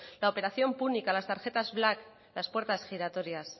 la operación púnica las tarjetas black las puertas giratorias